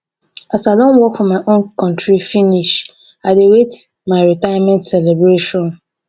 as i don work for my contri finish i dey wait my retirement celebration.